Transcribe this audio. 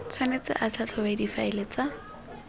tshwanetse a tlhatlhobe difaele tsa